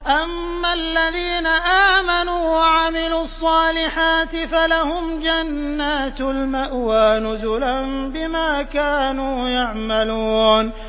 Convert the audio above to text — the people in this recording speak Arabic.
أَمَّا الَّذِينَ آمَنُوا وَعَمِلُوا الصَّالِحَاتِ فَلَهُمْ جَنَّاتُ الْمَأْوَىٰ نُزُلًا بِمَا كَانُوا يَعْمَلُونَ